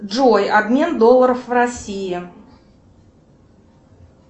джой обмен долларов в россии